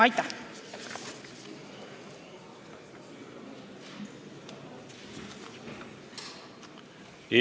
Aitäh!